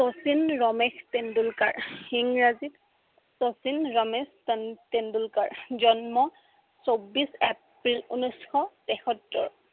শচীন ৰমেশ তেণ্ডলুকাৰ, ইংৰাজীত শচীন ৰমেশ তেন~তেণ্ডলুকাৰ জন্ম চৌব্বিশ এপ্ৰিল উনৈচশ তেসত্তৰ